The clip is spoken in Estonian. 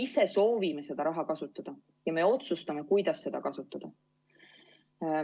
Me ise soovime seda raha kasutada ja me ise otsustame, kuidas seda kasutada.